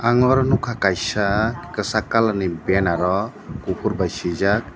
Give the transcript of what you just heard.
aro nugkha kaisa kachak kalar ni banner o kufur by swijak.